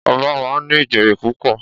Ọba máa ń ní ìjòyè púpọ̀